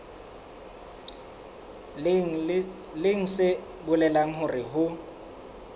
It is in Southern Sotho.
leng se bolelang hore ho